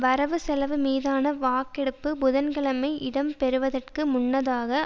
வரவு செலவு மீதான வாக்கெடுப்பு புதன்கிழமை இடம்பெறுவதற்கு முன்னதாக